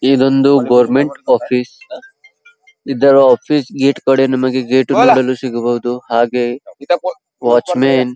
ಇದೊಂದು government office ಇದರ office gate ಕಡೆ ನಮಗೆ ಗೇಟು ಸಿಗಬಹುದು ಹಾಗೆ ವಾಚ್ ಮ್ಯಾನ್ --